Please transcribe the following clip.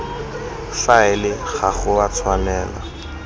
faele ga go a tshwanela